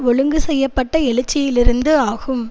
ஒழுங்கு செய்ய பட்ட எழுச்சியிலிருந்து ஆகும்